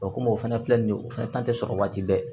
O komi o fɛnɛ filɛ nin ye o fɛnɛ ta tɛ sɔrɔ waati bɛɛ